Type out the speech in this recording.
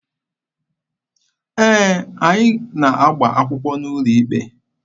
Ee, anyị na-agba akwụkwọ n'ụlọ ikpe.